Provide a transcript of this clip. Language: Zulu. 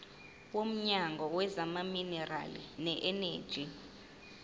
womnyango wezamaminerali neeneji